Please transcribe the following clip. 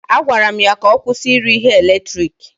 A gwara m ya ka ọ kwụsị ire ihe eletiriki.